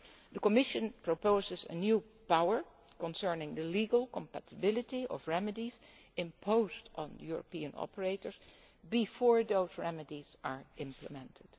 The Commission proposes a new power concerning the legal compatibility of remedies imposed on European operators before those remedies are implemented.